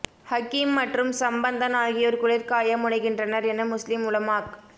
ஹக்கீம் மற்றும் சம்பந்தன் ஆகியோர் குளிர்காய முனைகின்றனர் என முஸ்லிம் உலமாக்